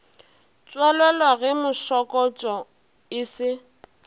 tswalelwa ge mašokotšo e se